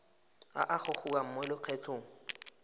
a a gogiwang mo lokgethong